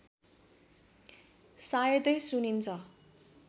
सायदै सुनिन्छ